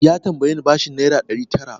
Ya tambaye ni bashin naira ɗari tara.